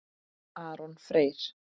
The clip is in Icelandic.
Aron Freyr.